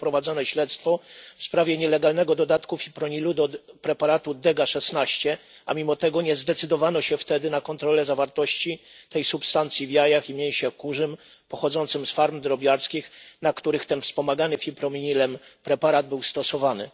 było prowadzone śledztwo w sprawie nielegalnego dodatku fipronilu do preparatu Dega 16, a mimo tego nie zdecydowano się wtedy na kontrole zawartości tej substancji w jajach i mięsie kurzym pochodzącym z ferm drobiarskich, na których ten wspomagany fipronilem preparat był stosowany.